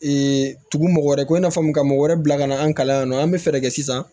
tugu mɔgɔ wɛrɛ ko i n'a fɔ mun ka mɔgɔ wɛrɛ bila ka na an kalan yan nɔ an bɛ fɛɛrɛ kɛ sisan